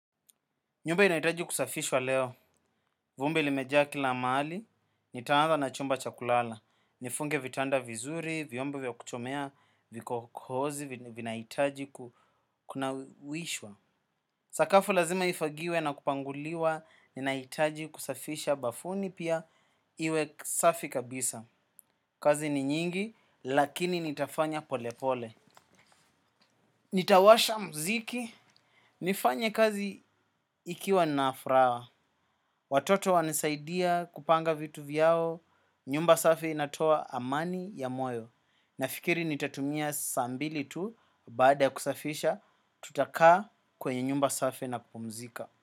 Nyumba inaitaji kusafishwa leo. Vumbi limeja kila mahali, nitaanza na chumba chakulala. Nifunge vitanda vizuri, viombo vya kuchomea, viko kozi, vinaitaji kunawishwa. Sakafu lazima ifagiwe na kupanguliwa, ninaitaji kusafisha bafuni pia iwe safi kabisa. Kazi ni nyingi, lakini nitafanya polepole. Nitawasha mziki. Nifanye kazi ikiwa nafuraha. Watoto wanisaidia kupanga vitu vyao, nyumba safi inatoa amani ya moyo. Nafikiri nitatumia sas mbili tu, baada ya kusafisha, tutakaa kwenye nyumba safi na kupumzika.